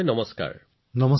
নমস্কাৰ মহোদয়